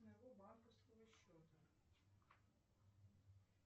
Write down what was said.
моего банковского счета